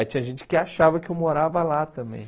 Aí tinha gente que achava que eu morava lá também.